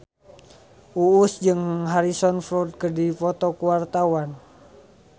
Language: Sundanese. Uus jeung Harrison Ford keur dipoto ku wartawan